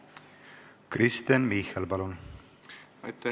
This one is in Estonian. Kristen Michal, palun!